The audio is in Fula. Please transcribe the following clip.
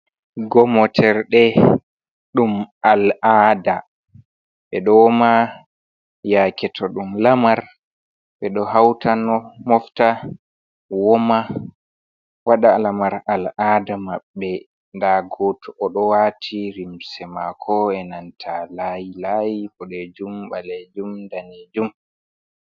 Gomoterɗe ɗum al 'aada ɓeɗo woma yake to ɗum lamar ɓeɗo hauta no mofta woma waɗa lamar al' ada maɓɓe, nda goto oɗo wati limse mako e nanta layi layi boɗejum ɓalejum danejum.